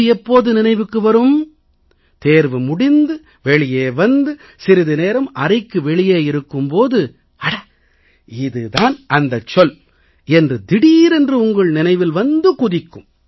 இது எப்போது நினைவுக்கு வரும் தேர்வு முடிந்து வெளியே வந்து சிறிது நேரம் அறைக்கு வெளியே இருக்கும் போது அட இது தான் அந்தச் சொல் என்று திடீரென்று உங்கள் நினைவில் வந்து குதிக்கும்